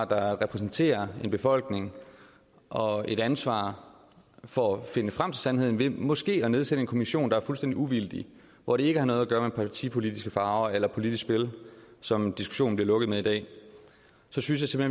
der repræsenterer en befolkning og et ansvar for at finde frem til sandheden ved måske at nedsætte en kommission der er fuldstændig uvildig hvor det ikke har noget at gøre med partipolitiske farver eller politisk spil som diskussionen bliver lukket med i dag så synes jeg